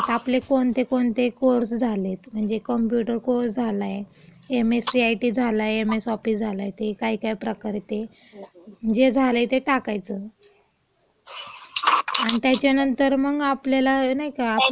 आपले कोणते कोणते कोर्स झालेत म्हणजे कॉम्प्युटर कोर्स झालाय, M S C I T झालाय, एम एस ऑफिस झालाय, ते काय काय प्रकार आहेत, ते.जे झालंय ते टाकायचं.आणि त्याच्यानंतर मंग आपल्याला नाही का..